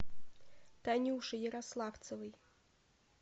танюши ярославцевой